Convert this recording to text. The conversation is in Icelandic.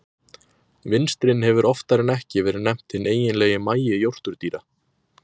Vinstrin hefur oftar en ekki verið nefnt hinn eiginlegi magi jórturdýra.